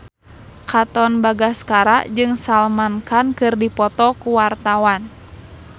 Katon Bagaskara jeung Salman Khan keur dipoto ku wartawan